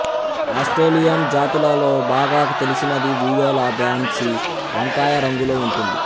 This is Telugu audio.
ఆస్ట్రేలియన్ జాతులలో బాగా తెలిసినది వియోలా బ్యాంసి వంకాయ రంగులో ఉంటుంది